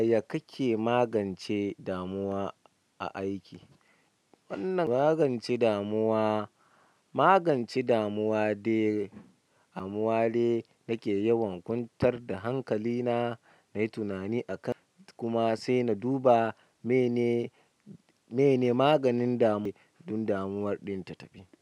Yaya kake magance damuwa a aiki? Wannan magance damuwa, magance damuwa dai a muwale nake yawan kwantar da hankali na, na yi tunani akan kuma sai na duba mene, mene maganin damuwa don damuwar ɗin ta tafi.